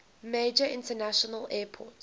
major international airport